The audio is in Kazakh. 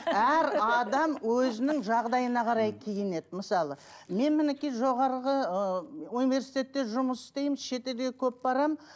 әр адам өзінің жағдайына қарай киінеді мысалы мен мінекей жоғарғы ы университетте жұмыс істеймін шетелге көп барамын